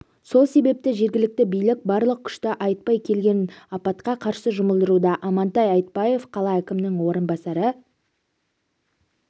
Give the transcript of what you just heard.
сол себепті жергілікті билік барлық күшті айтпай келген апатқа қарсы жұмылдыруда амантай айтбаев қала әкімінің орынбасары